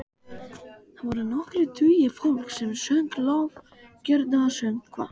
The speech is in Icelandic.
Þar voru nokkrir tugir fólks sem söng lofgjörðarsöngva.